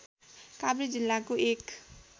काभ्रे जिल्लाको एक